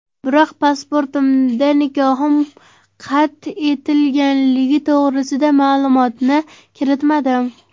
Biroq pasportimda nikohim qad etilganligi to‘g‘risida ma’lumotni kiritmadim.